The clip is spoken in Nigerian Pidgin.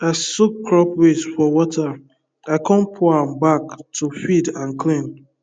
i soak crop waste for water i con pour am back to feed and clean